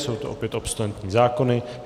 Jsou to opět obsolentní zákony.